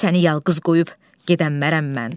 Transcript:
Səni yalqız qoyub gedəmmərəm mən.